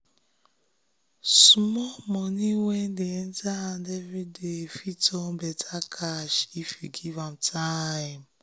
small money wey dey enter every day fit turn better cash if you give am time.